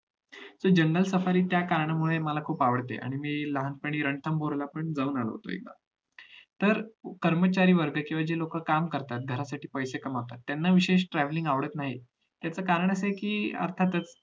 तर जंगल सफारी मला त्या कारणामुळे खुप आवडते मी लहानपणी रंथपूरला पण जाऊन आलो होतो एकदा तर कर्मचारी वर्ग किंवा जी लोक काम करतात जे लोक ते पैसे कमवतात त्यांना विशेष travelling आवडत नाही त्याच कारण अस आहे कि आता जसं